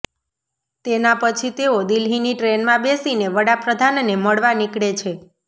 તેના પછી તેઓ દિલ્હીની ટ્રેનમાં બેસીને વડાપ્રધાનને મળવા નિકળે છે